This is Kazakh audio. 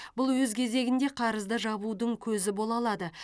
бұл өз кезегінде қарызды жабудың көзі бола алады